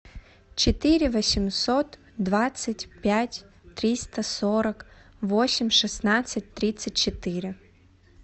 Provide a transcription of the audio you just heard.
четыре восемьсот двадцать пять триста сорок восемь шестнадцать тридцать четыре